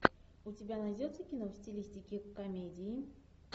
у тебя найдется кино в стилистике комедии